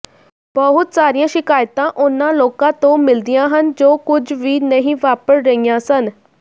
ਬਹੁਤ ਸਾਰੀਆਂ ਸ਼ਿਕਾਇਤਾਂ ਉਹਨਾਂ ਲੋਕਾਂ ਤੋਂ ਮਿਲਦੀਆਂ ਹਨ ਜੋ ਕੁਝ ਵੀ ਨਹੀਂ ਵਾਪਰ ਰਹੀਆਂ ਸਨ